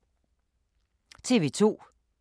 TV 2